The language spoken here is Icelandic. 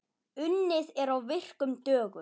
Unnið er á virkum dögum.